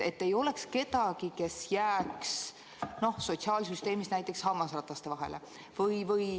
Ei tohi olla kedagi, kes jääb sotsiaalsüsteemis hammasrataste vahele.